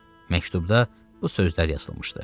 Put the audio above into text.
Məktubda bu sözlər yazılmışdı.